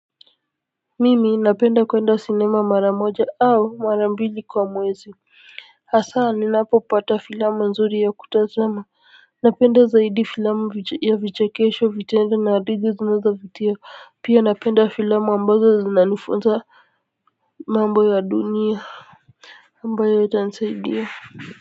Mimi napenda kuenda sinema mara moja au mara mbili kwa mwezi hasa ninapopata filamu nzuri ya kutazama napenda zaidi filamu ya vichekesho vitendo na hadithi zinazovutia pia napenda filamu ambazo zinazonifunza mambo ya dunia ambayo ita nisaidia.